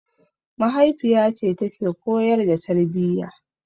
Mahaifiyace take koyar da tarbiyya.